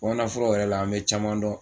O nalofo foloyɛrɛ la, an mi caman dɔn